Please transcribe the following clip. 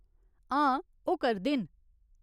हां, ओह् करदे न।